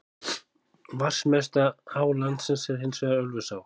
Vatnsmesta á landsins er hins vegar Ölfusá.